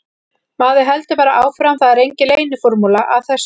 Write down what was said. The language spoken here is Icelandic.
Maður heldur bara áfram, það er engin leyniformúla að þessu.